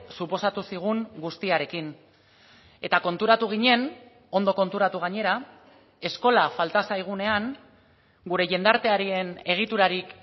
suposatu zigun guztiarekin eta konturatu ginen ondo konturatu gainera eskola falta zaigunean gure jendartearen egiturarik